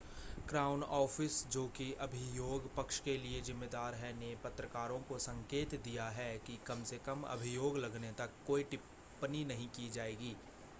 crown Office जो कि अभियोग पक्ष के लिए ज़िम्मेदार है ने पत्रकारों को संकेत दिया है कि कम से कम अभियोग लगने तक कोई टिप्पणी नहीं की जाएगी